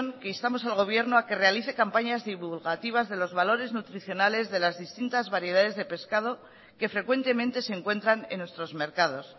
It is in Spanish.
que instamos al gobierno a que realice campañas divulgativas de los valores nutricionales de las distintas variedades de pescado que frecuentemente se encuentran en nuestros mercados